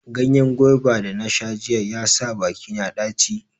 Ganyen gwaiba da nasha jiya ya sa bakina ɗaci.